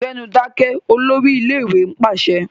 Gbẹ́nu dákẹ́! Olórí ilé-ìwé pàṣẹ.